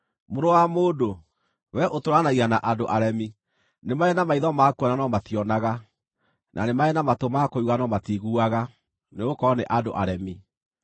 “Mũrũ wa mũndũ, wee ũtũũranagia na andũ aremi. Nĩ marĩ na maitho ma kuona no mationaga, na nĩ marĩ na matũ ma kũigua no matiiguaga, nĩgũkorwo nĩ andũ aremi.